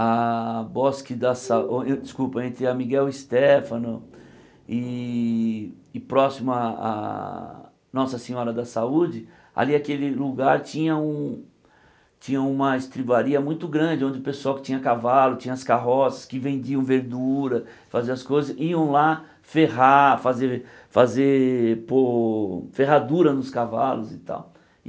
a bosque da sa... Desculpa, entre a Miguel Stéfano e e próximo à à Nossa Senhora da Saúde, ali aquele lugar tinha um tinha uma estribaria muito grande, onde o pessoal que tinha cavalo, tinha as carroças, que vendiam verdura, fazia as coisas, iam lá ferrar, fazer fazer pôr ferradura nos cavalos e tal.